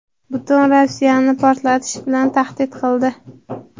"butun Rossiyani portlatish" bilan tahdid qildi.